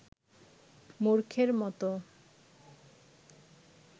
মূর্খের মতো